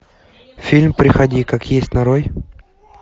фильм приходи как есть нарой